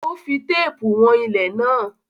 Ó fí teepu wọ̀n ilẹ̀ náà